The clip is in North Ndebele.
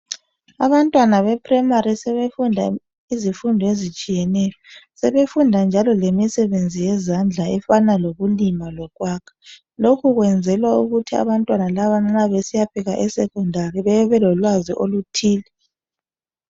Abantwana be primary sebefunda izifundo ezitshiyeneyo sebefunda njalo lemisebenzi yezandla efana lokulima lokwakha lokhu kwenzelwa ukuthi abantwana laba nxa besiyafika esecondary bebe belolwazi oluthile.